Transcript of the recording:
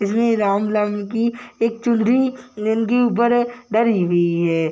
इसमें राम नाम की एक चुनरी जिनके ऊपर डली हुई है ।